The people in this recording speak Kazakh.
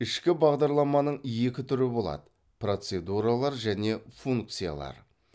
ішкі бағдарламаның екі түрі болады процедуралар және функциялар